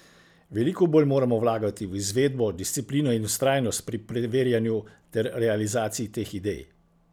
Veliko bolj moramo vlagati v izvedbo, disciplino in vztrajnost pri preverjanju ter realizaciji teh idej.